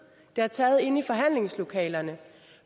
det har taget inde i forhandlingslokalerne